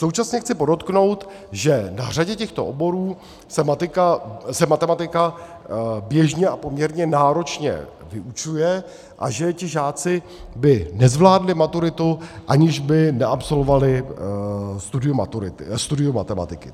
Současně chci podotknout, že na řadě těchto oborů se matematika běžně a poměrně náročně vyučuje a že ti žáci by nezvládli maturitu, aniž by neabsolvovali studium matematiky.